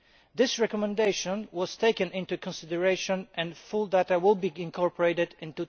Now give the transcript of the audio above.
This recommendation was taken into consideration and full data will be incorporated in